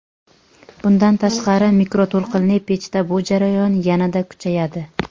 Bundan tashqari mikroto‘lqinli pechda bu jarayon yanada kuchayadi.